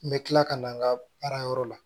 N bɛ tila ka na n ka baarayɔrɔ la